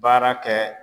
Baara kɛ